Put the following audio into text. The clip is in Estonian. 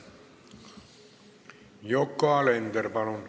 Yoko Alender, palun!